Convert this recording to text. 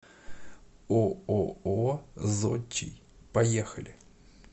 ооо зодчий поехали